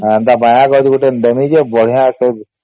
ହେନ୍ତା ମାୟା କରିକି ଗୋଟେ ଡେମି ଯେ ବଢିଆ ସେ